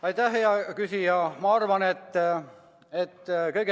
Aitäh, hea küsija!